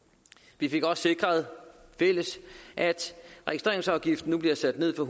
vi fik også sikret at registreringsafgiften nu bliver sat ned fra